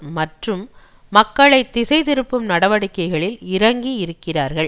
மற்றும் மக்களை திசை திருப்பும் நடவடிக்கைகளில் இறங்கி இருக்கிறார்கள்